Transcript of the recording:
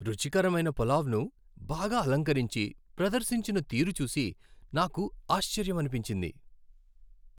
రుచికరమైన పులావ్ను బాగా అలంకరించి ప్రదర్శించిన తీరు చూసి నాకు ఆశ్చర్యమనిపించింది.